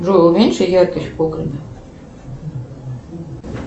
джой уменьши яркость в погребе